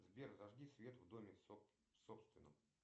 сбер зажги свет в доме собственном